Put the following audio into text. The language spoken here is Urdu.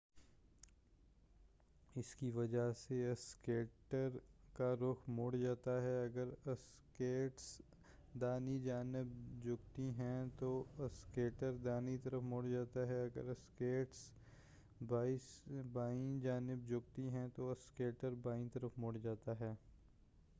اسکی وجہ سے اسکیٹر کا رخ مڑ جاتا ہے اگر اسکیٹس داہنی جانب جھکتی ہیں تو اسکیٹر داہنی طرف مڑ جاتا ہے اگر اسکیٹس بائیں جانب جھکتی ہیں تو اسکیٹر بائیں طرف مڑ جاتا ہے